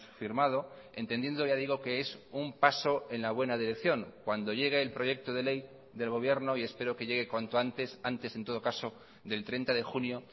firmado entendiendo ya digo que es un paso en la buena dirección cuando llegue el proyecto de ley del gobierno y espero que llegue cuanto antes antes en todo caso del treinta de junio